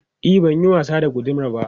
E, ban yin wasa da gudamar ba.